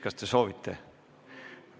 Kas te soovite sõna?